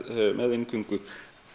inngöngu